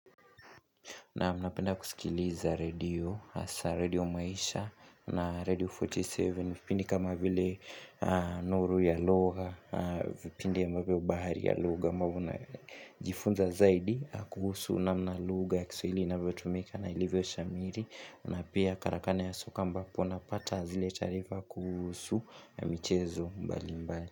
Naam napenda kusikiliza radio, hasa radio maisha na radio 47, vipindi kama vile nuru ya lugha, vipindi ambavyo bahari ya lugha, ambavyo najifunza zaidi kuhusu na namna lugha ya kiswahili inavyotumika na ilivyo shamiri, na pia karakana ya soka ambapo napata zile taarifa kuhusu na michezo mbali mbali.